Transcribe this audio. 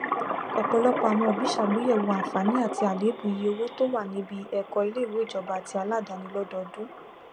ọpọlọpọ àwọn òbí sàgbéyẹwò àǹfààní àti àléébù iye owó tó wà níbí ẹkọ iléìwé ìjọbá àtí aládáni lọdọọdún